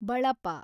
ಬಳಪ